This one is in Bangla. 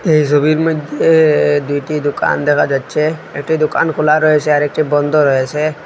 এই ছবির মইধ্যে এ দুইটি দোকান দেখা যাচ্ছে একটি দোকান খোলা রয়েছে আর একটি বন্ধ রয়েছে।